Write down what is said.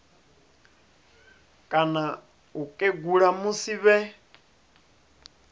kana u kegula musi vhe